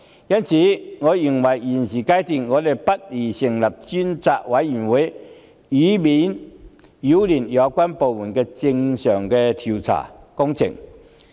因此，我認為立法會現階段不宜成立專責委員會，以免擾亂相關部門的正常調查工作。